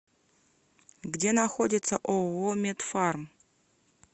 где находится ооо медфарм